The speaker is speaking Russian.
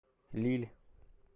лилль